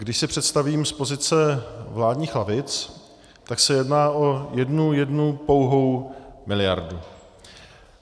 Když si představím z pozice vládních lavic, tak se jedná o jednu, jednu pouhou miliardu.